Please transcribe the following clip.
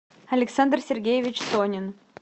александр сергеевич сонин